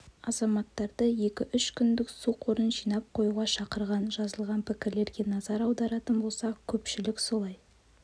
азаматтарды екі-үш күндік су қорын жинап қоюға шақырған жазылған пікірлерге назар аударатын болсақ көпшілік солай